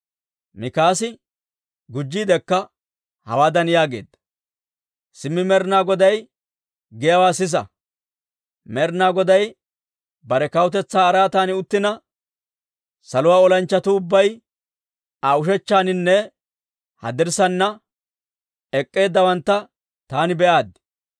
Mikaasi gujjiidekka hawaadan yaageedda; «Simmi Med'inaa Goday giyaawaa sisa! Med'inaa Goday bare kawutetsaa araatan uttina, saluwaa olanchchatuu ubbay Aa ushechchannanne haddirssaana ek'k'eeddawantta taani be'aaddi.